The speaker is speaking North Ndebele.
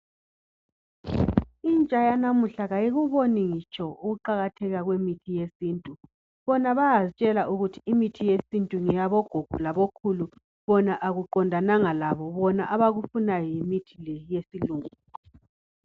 Intsha yanamuhla ayikuboni ukuqakatheka kwemithi yesintu bona bayazitshela ukuthi imithi yesintu ngeyabogogo labokhulu bona akuqondananga labo bona abakufundayo yimithi le yesilungu